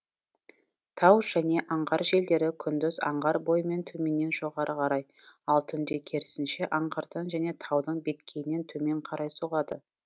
тау және аңғар желдері күндіз аңғар бойымен төменнен жоғары қарай ал түнде керісінше аңғардан және таудың беткейінен төмен қарай соғады